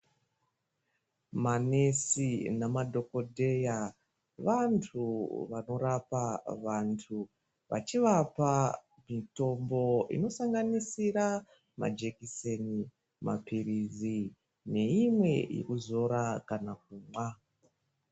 Manesi nemadhokodheya vantu vanorapa vantu vachivapa mitombo inosanganisira majekiseni Mapirizi neimwe yekuzora kana kumwa.